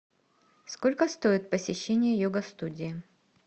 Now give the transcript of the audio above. сколько стоит посещение йога студии